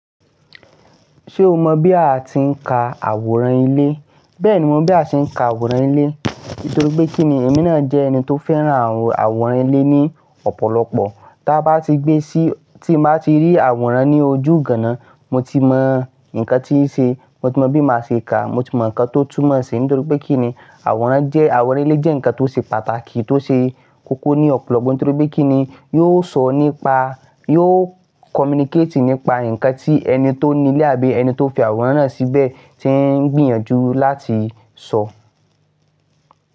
Ṣé o mọ̀ bí a ti ń ka àwòrán ilé? Bẹ́ẹ̀ni, mo mọ̀ bí a ṣe ń ka àwòrán ilé. Nítorí pé kí ni, èmi náà jẹ́ ẹni tó fẹ́ràn àwòrán ilé ní ọ̀pọ̀lọpọ̀. Tí a bá ti gbé sí tí màá ti rí àwòrán ní ojú ganan mo ti mọ nǹkan tíí ṣe, mo ti mọ bí màá ṣe ka, mo ti mọ nǹkan tó túmọ̀ síi. Nítorí pé kí ni, àwòrán jẹ́, àwòrán ilé jẹ́ nǹkan tó ṣe pàtàkì tó ṣe kókó ní ọ̀pọ̀lọpọ̀. Nítorí pé kí ni, yóò sọ nípa yóò communicate nípa nǹkan tí ẹni tó ní ilé àbí ẹni tó fi àwòrán náà síbẹ̀ tí ń gbìyànjú láti sọ.